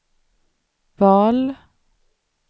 val